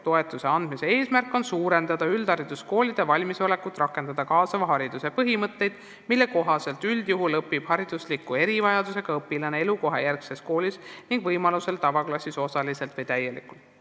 Toetuse andmise eesmärk on suurendada üldhariduskoolide valmisolekut rakendada kaasava hariduse põhimõtteid, mille kohaselt üldjuhul õpib haridusliku erivajadusega õpilane elukohajärgses koolis ning võimalusel tavaklassis kas osaliselt või täielikult.